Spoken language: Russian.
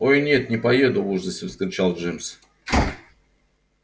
ой нет не поеду в ужасе вскричал джимс